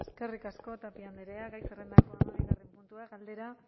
eskerrik asko tapia andrea gai zerrendako hamabigarren puntua galdera